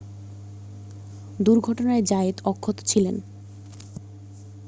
দুর্ঘটনায় জায়েত অক্ষত ছিলেন